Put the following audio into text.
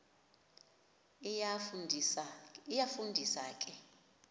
iyafu ndisa ke